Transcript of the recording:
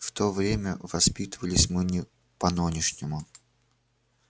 в то время воспитывались мы не по-нонешнему